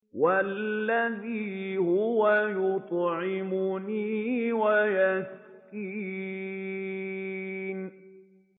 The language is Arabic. وَالَّذِي هُوَ يُطْعِمُنِي وَيَسْقِينِ